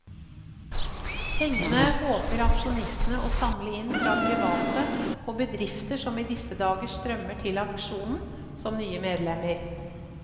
Pengene håper aksjonistene å samle inn fra private og bedrifter som i disse dager strømmer til aksjonen som nye medlemmer.